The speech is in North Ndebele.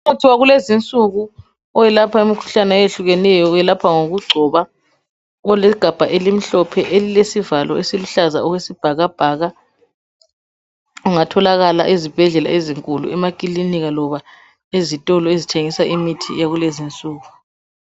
Imithi yakulezi insuku oyelapha umkhuhlane owehlukeneyo welapha ngokungcoba olegabha elimhlophe elilesivalo esiluhlaza okwesibhakabhaka sungatholakala ezibhedlela ezinkulu, emaklinika loba ezitolo ezithengisa imithi yakulezi insuku.